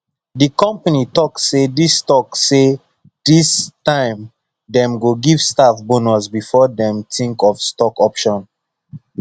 the company talk say this talk say this time dem go give staff bonus before dem think of stock option